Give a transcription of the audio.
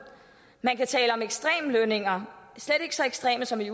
man kan tale om ekstreme lønninger slet ikke så ekstreme som i